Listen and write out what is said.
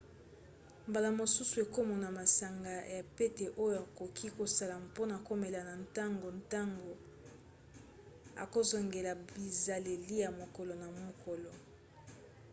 mbala mosusu okomona masanga ya pete oyo okoki kosala mpona komela na ntongo ntango okozongela bizaleli ya mokolo na mokolo